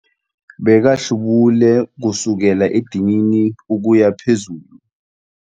Bekahlubule kusukela edinini ukuya phezulu.